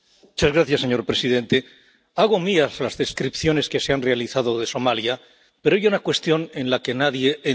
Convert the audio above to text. Señor presidente, hago mías las descripciones que se han realizado de Somalia, pero hay una cuestión en la que nadie entra.